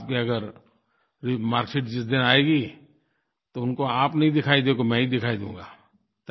और आपकी अगर मार्क्सशीट जिस दिन आएगी तो उनको आप नहीं दिखाई दोगे मैं ही दिखाई दूँगा